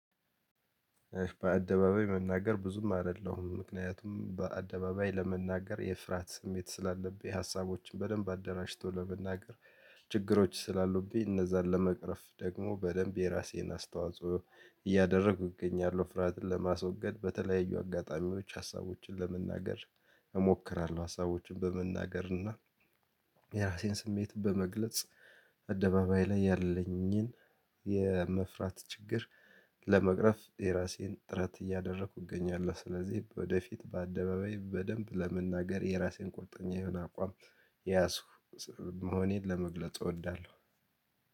በአደባባይ መናገር ብዙም አይደለሁም ምክንያቱም በአደባባይ ለመናገር የፍርሃት ስሜት ስላለብኝ ሀሳቦችን በደንብ አደራጅቶ ለመናገር ችግሮች ስላሉብኝ እነዛን ለመቅረፍ ደግሞ በደንብ የራሴን አስተዋጽኦ እያደረኩ እገኛለሁ። ፍርሃትን ለማስወገድ በተለያዩ አጋጣሚዎች ሀሳቦችን ለመናገር እሞክራለሁ። ሀሳቦችን በመናገር እና የራሴን ስሜት በመግለጽ አደባባይ ላይ ያለኝን የመፍራት ችግር ለመቅረፍ የራሴን ጥረት እያደረኩ እገኛለሁ። ስለዚህ ወደፊት በአደባባይ በደንብ ለመናገር የራሴን ቁርጠኛ የሆነ አቋም የያዝኩ መሆኔን ለመግለጽ እወዳለሁ።